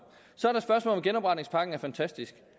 om genopretningspakken er fantastisk